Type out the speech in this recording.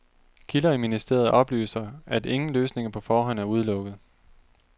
Kilder i ministeriet oplyser, at ingen løsninger på forhånd er udelukket.